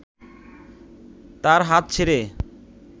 তার হাত ছেড়ে